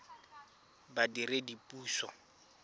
badiredipuso